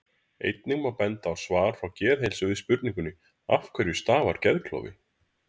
Einnig má benda á svar frá Geðheilsu við spurningunni Af hverju stafar geðklofi?